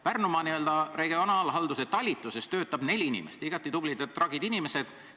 Pärnu regionaalhalduse talituses töötab neli inimest, igati tublid ja tragid inimesed.